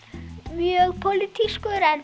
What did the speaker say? mjög